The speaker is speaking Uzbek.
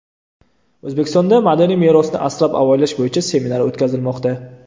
O‘zbekistonda madaniy merosni asrab-avaylash bo‘yicha seminar o‘tkazilmoqda.